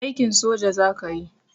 Aikin soja zakayi